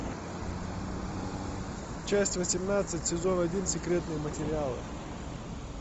часть восемнадцать сезон один секретные материалы